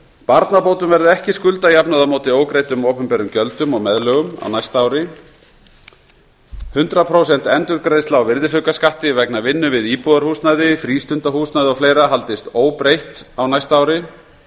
barnabótum verði ekki skuldajafnað á móti ógreiddum opinberum gjöldum og meðlögum á næsta ári hundrað prósent endurgreiðsla á virðisaukaskatti vegna vinnu við íbúðarhúsnæði frístundahúsnæði og fleiri haldist óbreytt á næsta ári